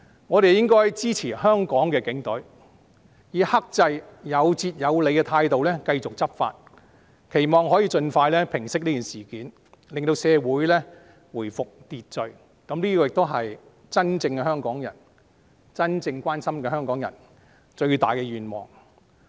我們應該支持香港警隊，以克制、有節有理的態度繼續執法，期望可以盡快平息事件，令社會回復秩序，這是真正香港人、真正關心香港的人最大的願望。